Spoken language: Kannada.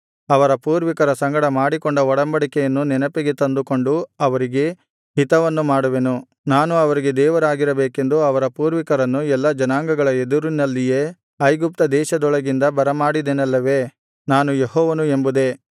ಅವರ ಪೂರ್ವಿಕರ ಸಂಗಡ ಮಾಡಿಕೊಂಡ ಒಡಂಬಡಿಕೆಯನ್ನು ನೆನಪಿಗೆ ತಂದುಕೊಂಡು ಅವರಿಗೆ ಹಿತವನ್ನು ಮಾಡುವೆನು ನಾನು ಅವರಿಗೆ ದೇವರಾಗಿರಬೇಕೆಂದು ಅವರ ಪೂರ್ವಿಕರನ್ನು ಎಲ್ಲಾ ಜನಾಂಗಗಳ ಎದುರಿನಲ್ಲಿಯೇ ಐಗುಪ್ತದೇಶದೊಳಗಿಂದ ಬರಮಾಡಿದೆನಲ್ಲವೇ ನಾನು ಯೆಹೋವನು ಎಂಬುದೇ